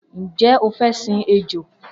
Njẹ o fẹ sìn ejò?